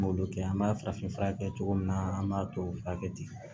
An m'olu kɛ an b'a farafin fura kɛ cogo min na an b'a tubabu furakɛ ten